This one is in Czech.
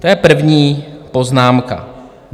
To je první poznámka.